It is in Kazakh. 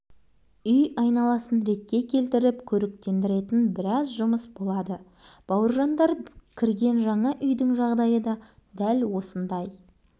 алдымен барлық пәтерге өзді-өзі иесі көшіп кірді де кешке қарай самсаған терезелерден жарық саулап тәтті тамақтың иісі мұрын